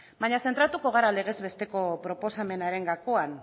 baina zentraturiko gara legez besteko proposamenaren gakoan